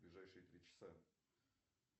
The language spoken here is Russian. ближайшие три часа